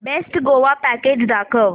best Goa package दाखव